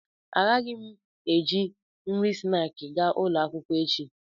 Agaghị m eji nri snaakị gaa ụlọ akwụkwọ echi